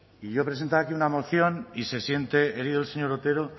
y yo he presentado aquí una moción y se siente herido el señor otero